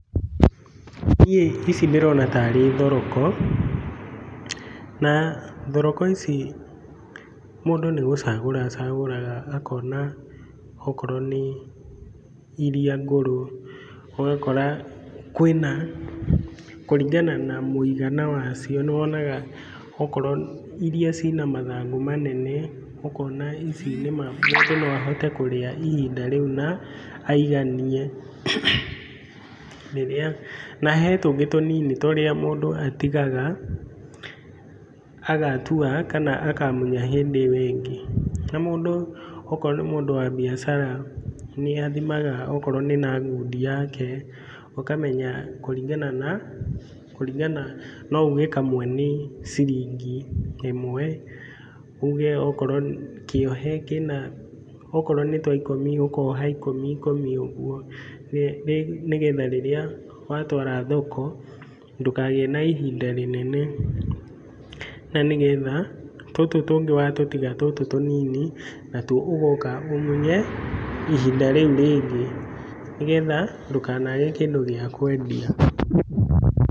Niĩ ici ndĩrona tarĩ thoroko, na thoroko ici mũndũ nĩ gũcagũra acagũraga akona okorwo nĩ iria ngũrũ, ũgakora kwĩna, kũringana na mũigana wacio, nĩ wonaga okorwo iria ciĩna mathangũ manene, ũkona ici nĩma, mũndũ no ahote kũrĩa ihinda rĩu na aiganie. Rĩrĩa, na he tũngĩ tũnini tũrĩa mũndũ atigaga agatua kana akamunya hĩndĩ ĩyo ĩngĩ. Na mũndũ, okorwo nĩ mũndũ wa biacara, nĩ athimaga okorwo nĩ na ngundi yake, ũkamenya kũringana na, kũringana, no uge kamwe nĩ ciringi ĩmwe, uge okorwo, kĩohe kĩna, okorwo nĩ twa ikũmi, ũkoha ikũmi ikũmi ũguo, nĩgetha rĩrĩa watwara thoko, ndũkagĩe na ihinda rĩnene na nĩ getha tũtũ tũngĩ watũtiga tũtũ tũnini, natuo ũgoka ũmunye ihinda rĩu rĩngĩ, nĩgetha ndũkanage kĩndũ gĩa kwendia.